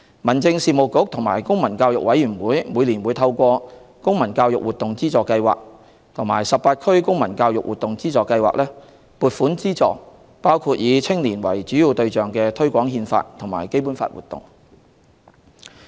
民政事務局與公民教育委員會每年會透過"公民教育活動資助計劃"及"十八區公民教育活動資助計劃"，撥款資助包括以青年為主要對象的推廣《憲法》和《基本法》活動。